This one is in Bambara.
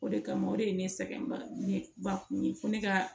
O de kama o de ye ne sɛgɛn ba ne ba kun ye fo ne ka